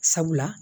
Sabula